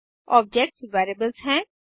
objects variables हैं